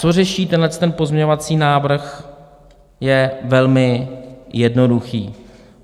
Co řeší tenhle pozměňovací návrh, je velmi jednoduché.